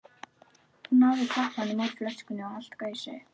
Hún náði tappanum úr flöskunni og allt gaus upp.